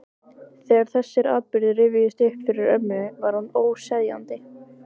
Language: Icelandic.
Þegar þessir atburðir rifjuðust upp fyrir ömmu var hún óseðjandi.